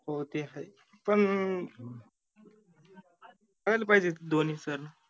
हो ते हाय पन करायला पाहिजे धोनी sir